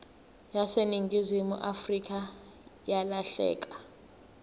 yaseningizimu afrika yalahleka